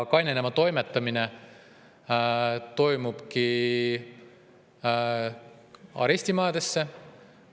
Kainenema toimetatakse arestimajadesse.